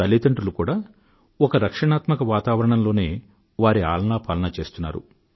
తల్లితండ్రులు కూడా ఒక రక్షణాత్మక వాతావరణంలోనే వారి ఆలనా పాలనా చేస్తున్నారు